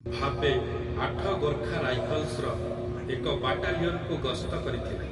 ଭାବେ ଆଠ ଗୋର୍ଖା ରାଇଫଲ୍ସର ଏକ ବାଟାଲିଅନ୍‌କୁ ଗସ୍ତ କରିଥିଲେ ।